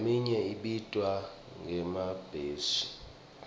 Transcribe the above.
leminye ibitwa ngemabheshi